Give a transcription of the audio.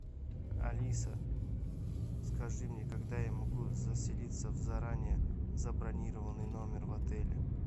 алиса скажи мне когда я могу заселиться в заранее забронированный номер в отеле